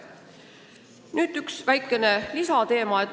Nüüd üks väikene lisateema.